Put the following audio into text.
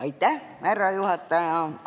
Aitäh, härra juhataja!